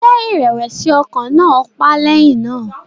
Ṣé ìrẹ̀wẹ̀sì ọkàn náà pa á lẹ́yìn náà?